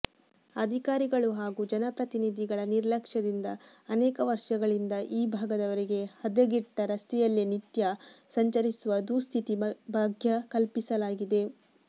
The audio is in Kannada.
ಅಧಿಕಾರಿಗಳು ಹಾಗೂ ಜನಪ್ರತಿನಿಧಿಗಳ ನಿರ್ಲಕ್ಷ್ಯದಿಂದ ಅನೇಕ ವರ್ಷಗಳಿಂದ ಈ ಭಾಗದವರಿಗೆ ಹದಗೆಟ್ಟ ರಸ್ತೆಯಲ್ಲೇ ನಿತ್ಯ ಸಂಚರಿಸುವ ದುಸ್ಥಿತಿ ಭಾಗ್ಯ ಕಲ್ಪಿಸಲಾಗಿದೆ